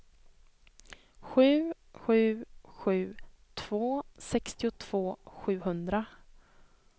sju sju sju två sextiotvå sjuhundra